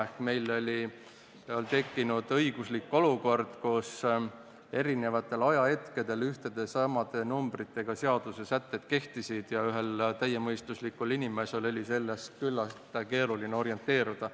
Ehk meil oli tekkinud õiguslik olukord, kus eri ajahetkedel ühtede ja samade numbritega seadusesätted kehtisid ja ühel täiemõistuslikul inimesel oli selles küllaltki keeruline orienteeruda.